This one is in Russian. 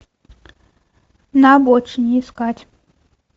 на обочине искать